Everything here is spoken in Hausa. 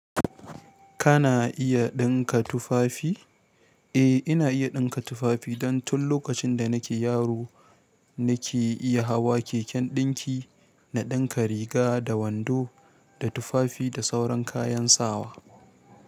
Kana iya ɗinka tufafi? Eh ina iya ɗinka tufafi dan tun lokacin da na ke yaro na ke iya hawa keken ɗinki na ɗinka riga da wando da tufafi da sauran kayan sawa.